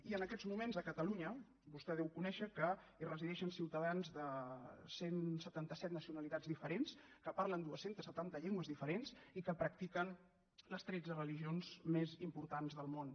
i en aquests moments a catalunya vostè deu conèixer que hi resideixen ciutadans de cent i setanta set nacionalitats diferents que parlen dos cents i setanta llengües diferents i que practiquen les tretze religions més importants del món